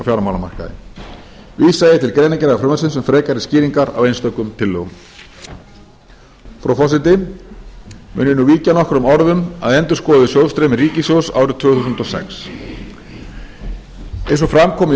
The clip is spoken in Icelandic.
fjármálamarkaði vísa ég til greinargerðar frumvarpsins til frekari skýringar á einstökum tillögum frú forseti mun ég nú víkja nokkrum orðum að endurskoðuðu sjóðsstreymi ríkissjóðs árið tvö þúsund og sex eins og fram kom í